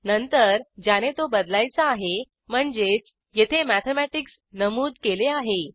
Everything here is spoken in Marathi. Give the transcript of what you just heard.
नंतर ज्याने तो बदलायचा आहे म्हणजेच येथे मॅथेमॅटिक्स नमूद केले आहे